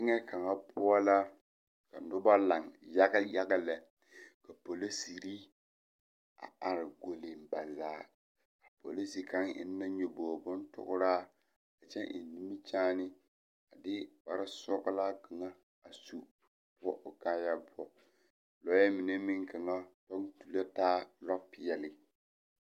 Teŋɛ kaŋa poɔ la ka nobɔ laŋ yaga yaga lɛ polisere a are golleŋ ba zaa polise kaŋ eŋ na nyoboge bonpɔgraa kyɛ eŋ nimikyaane a de kparesɔglaa kaŋa a su poɔ o kaayaa poɔ lɔɛ mine meŋ kaŋa kyɛ taa lɔpeɛle.